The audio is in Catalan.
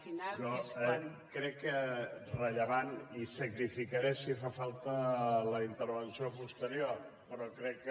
però crec que és rellevant i sacrificaré si fa falta la intervenció posterior però crec que